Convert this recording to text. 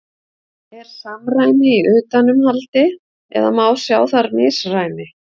Er samræmi í utanumhaldi eða má sjá þar misræmi?